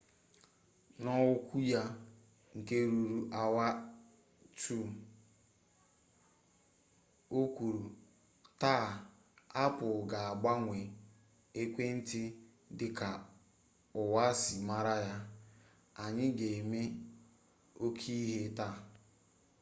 n'okwu ya nke ruru awa 2 o kwuru taa apple ga-agbanwe ekwentị dị ka ụwa si mara ya anyị ga-eme oke ihe taa